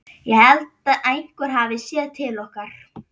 Ég held einhver hafi séð til okkar.